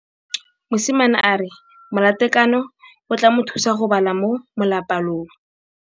Mosimane a re molatekanyô o tla mo thusa go bala mo molapalong.